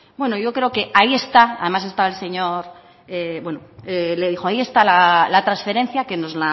bueno yo creo que ahí está además estaba el señor bueno ahí está la transferencia que nos